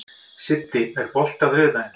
Siddi, er bolti á þriðjudaginn?